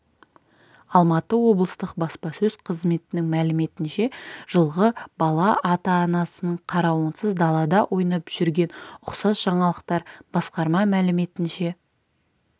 алматы облыстық баспасөз қызметінің мәліметінше жылғы бала ата-анасының қарауынсыз далада ойнап жүрген ұқсас жаңалықтар басқарма мәліметінше